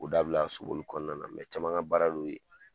O dabila sulu ninnu kɔnɔna na mɛ caman ka baara de y'o ye.